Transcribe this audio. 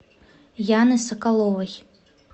яны соколовой